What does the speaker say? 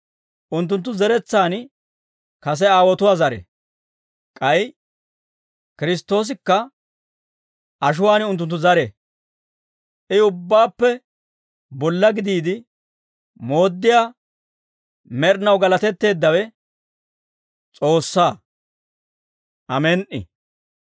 Unttunttu zeretsaan kase aawotuwaa zare; k'ay Kiristtoosikka ashuwaan unttunttu zare. I, ubbaappe bolla gidiide mooddiyaa, med'inaw galatetteeddawe S'oossaa. Amen"i.